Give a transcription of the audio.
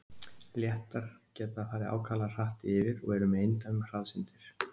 Léttar geta farið ákaflega hratt yfir og eru með eindæmum hraðsyndir.